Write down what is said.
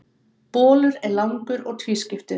bolur er langur og tvískiptur